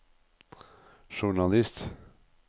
journalist